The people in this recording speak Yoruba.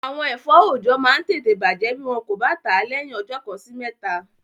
Àwọn ẹ̀fọ́ oọ̀jọ́ máa n tẹ̀tẹ̀ bàjẹ́ bí wọn kò bá tàá lẹ́yìn ọjọ́ kan sí mẹ́ta